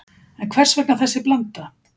En hvers vegna þessi blanda